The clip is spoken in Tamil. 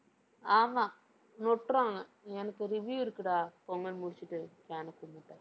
ஆமா. நொட்டுறாங்க. எனக்கு review இருக்குடா. பொங்கல் முடிச்சிட்டு கேனை கூமுட்டை